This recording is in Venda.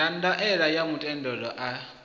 ya ndaela ya muthelo a